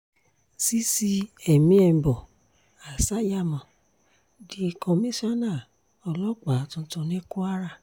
cc èmienbo assayamo di kọmíṣánǹà ọlọ́pàá tuntun ní kwara